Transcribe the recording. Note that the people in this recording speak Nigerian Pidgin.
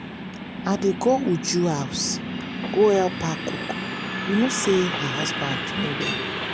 i dey go uju house go help her cook you know say her husband no well